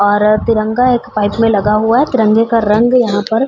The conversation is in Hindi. और तिरंगा एक पाइप में लगा हुआ है। तिरंगे का रंग यहाँ पर --